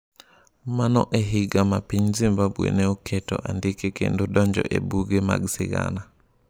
Mano e higa ma piny Zimbabwe ne oketo andike kendo donjo e buge mag sigana.